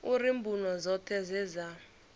uri mbuno dzoṱhe dze dza